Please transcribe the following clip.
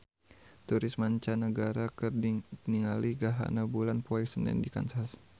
Turis mancanagara keur ningali gerhana bulan poe Senen di Kansas